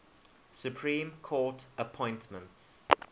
supreme court appointments